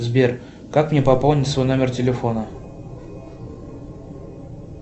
сбер как мне пополнить свой номер телефона